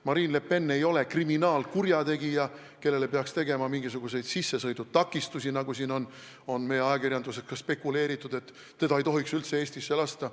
Marine Le Pen ei ole kriminaalkurjategija, kellele peaks tegema mingisuguseid sissesõidutakistusi, nagu on meie ajakirjanduses spekuleeritud, et teda ei tohiks üldse Eestisse lasta.